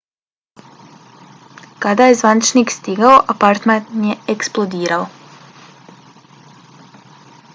kada je zvaničnik stigao apartman je eksplodirao